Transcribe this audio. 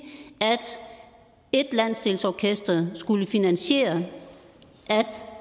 at et landsdelsorkester skulle finansiere at